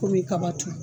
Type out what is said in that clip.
Komi kaba turu